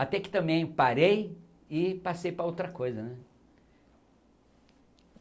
Até que também parei e passei para outra coisa, né?